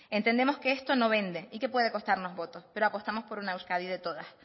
entendemos que esto no vende y que puede costarnos votos pero apostamos por una euskadi de todas